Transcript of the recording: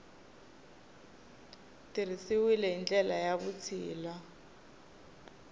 tirhisiwile hi ndlela ya vutshila